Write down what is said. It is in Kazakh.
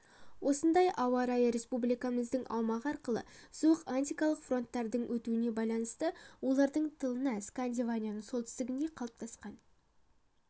осындай ауа райы республикамыздың аумағы арқылы суық арктикалық фронттардың өтуіне байланысты олардың тылына скандинавияның солтүстігінде қалыптасқан